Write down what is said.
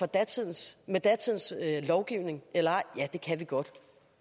datidens lovgivning eller ej ja det kan vi godt